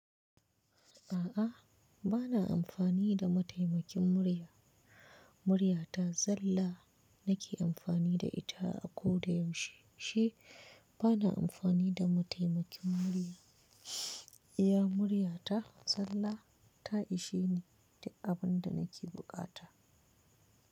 A'a, bana amfani da mataimakin murya. Murya ta zalla nake amfani da ita a koda yaushe. Ni, bana amfani da mataimakin murya. Iya murya ta zalla, ta ishe ni duk abin da nake buƙata.